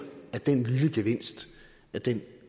at den lille gevinst